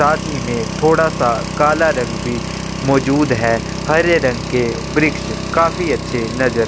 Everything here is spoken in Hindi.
साथ ही में थोड़ा सा काला रंग भी मौजूद है हरे रंग के वृक्ष काफ़ी अच्छे नज़र--